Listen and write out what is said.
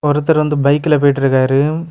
ஒருத்தர் வந்து பைக்ல போயிட்ருக்காரு.